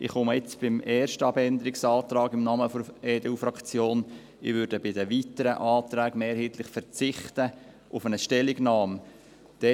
Ich komme jetzt beim ersten Abänderungsantrag im Namen der EDU-Fraktion ans Rednerpult, bei den weiteren Anträgen werde ich mehrheitlich auf eine Stellungnahme verzichten.